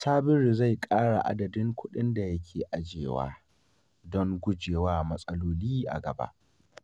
Sabiru zai ƙara adadin kuɗin da yake ajiyewa don gujewa matsaloli a gaba.